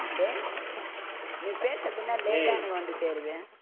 டேய் நீ பேசுறது என்ன டேய் late ஆ எனக்கு வந்து சேருது